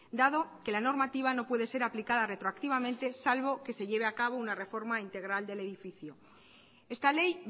dado que la normativa no puede ser aplicada retroactivamente salvo que se lleve a cabo una reforma integral del edificio esta ley